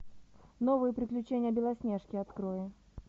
новые приключения белоснежки открой